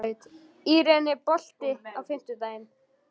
Irene, er bolti á fimmtudaginn?